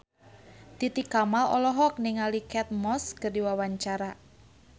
Titi Kamal olohok ningali Kate Moss keur diwawancara